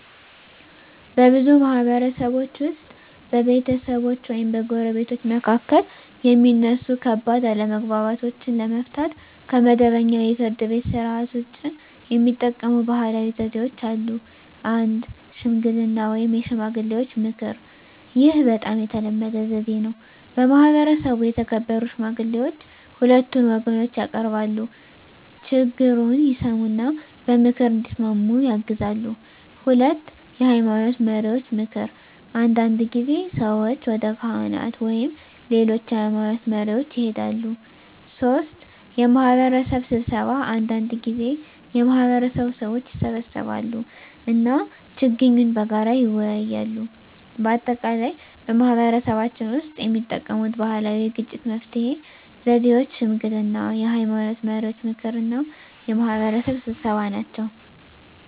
በብዙ ማህበረሰቦች ውስጥ በቤተሰቦች ወይም በጎረቤቶች መካከል የሚነሱ ከባድ አለመግባባቶችን ለመፍታት ከመደበኛው የፍርድ ቤት ሥርዓት ውጭ የሚጠቀሙ ባህላዊ ዘዴዎች አሉ። 1. ሽምግልና (የሽማግሌዎች ምክር) ይህ በጣም የተለመደ ዘዴ ነው። በማህበረሰቡ የተከበሩ ሽማግሌዎች ሁለቱን ወገኖች ያቀርባሉ፣ ችግኙን ይሰሙ እና በምክር እንዲስማሙ ያግዛሉ። 2. የሃይማኖት መሪዎች ምክር አንዳንድ ጊዜ ሰዎች ወደ ካህናት ወይም ሌሎች የሃይማኖት መሪዎች ይሄዳሉ። 3. የማህበረሰብ ስብሰባ አንዳንድ ጊዜ የማህበረሰቡ ሰዎች ይሰበሰባሉ እና ችግኙን በጋራ ይወያያሉ። በአጠቃላይ በማህበረሰባችን ውስጥ የሚጠቀሙት ባህላዊ የግጭት መፍትሄ ዘዴዎች ሽምግልና፣ የሃይማኖት መሪዎች ምክር እና የማህበረሰብ ስብሰባ ናቸው።